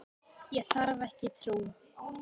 Ég þarf ekki trú.